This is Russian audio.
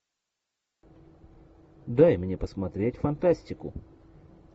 дай мне посмотреть фантастику